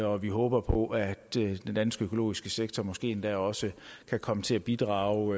og vi håber på at den danske økologiske sektor måske endda også kan komme til at bidrage